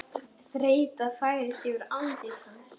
Þreyta færist yfir andlit hans.